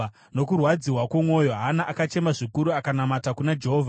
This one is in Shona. Nokurwadziwa kwomwoyo, Hana akachema zvikuru akanamata kuna Jehovha.